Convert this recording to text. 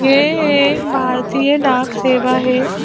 ये एक भारतीय डाक सेवा है।